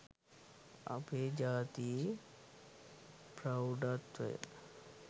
අපේ ජාතියේ ප්‍රෞඩත්වය